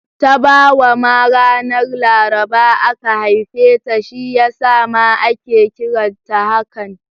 Tabawa ma ranar Laraba aka haife ta, shi ya sa ma ake kiranta hakan